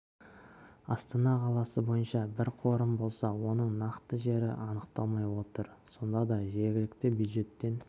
астана қаласы бойынша бір қорым болса оның нақты жері анықталмай отыр сонда да жергілікті бюджеттен